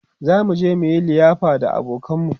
zamu je muyi ƴar liyafa da abokanan mu